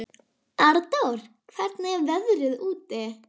Arndór, hvernig er veðrið úti?